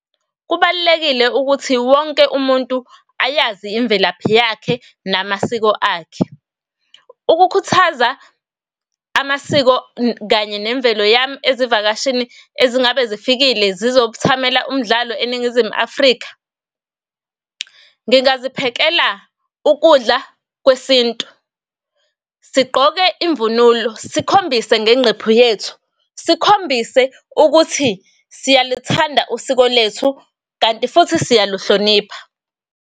Kubalulekile ukuthi wonke umuntu ayazi imvelaphi yakhe namasiko akhe. Ukukhuthaza amasiko kanye nemvelo yami ezivakashini ezingabe zifikile zizokuthamela umdlalo eNingizimu Afrika, ngingazi phekela ukudla kwesintu, sigqoke imvunulo sikhombise ngenqephu yethu, sikhombise ukuthi siyalithanda usiko lwethu, kanti futhi siyaluhlonipha.